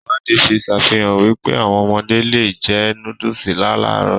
Ìwádìí fi sàfihàn wípé, áwọn ọmọdé le è jẹ nóódùsì láàlárọ̀